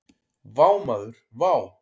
Vá maður vá!